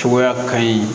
Cogoya ka ɲi